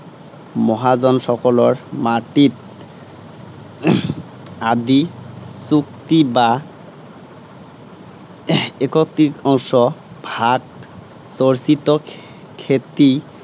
মহাজনসকলৰ মাটিত আধি চুক্তি বা এক তৃতীয়াংশ ভাগ, চৰ্চিত খেতি